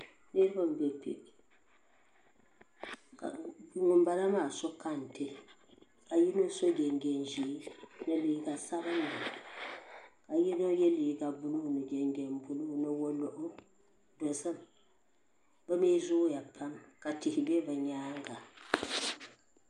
Niribi n be kpe. ka ŋun bala maa sɔ kantɛ ka yinɔ so jin jam ʒɛɛ. ni liiga sabinli ka yinɔ ye liiga blue ni jinjam blue. ni waligu, yiya zooya pam ka tihi bɛ bɛ nyaaŋa